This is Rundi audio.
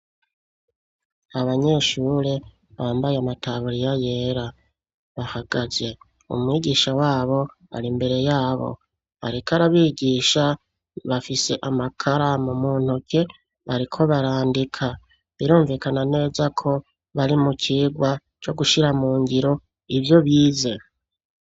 Abanyeshure bambaye amataburiya yera bahagaze, umwigisha wabo ari imbere yabo areke arabigisha, bafise amakara mu mu ntoke bariko barandika, birumvikana neza ko bari mu kigwa co gushira mu ngiro ivyo byizeho.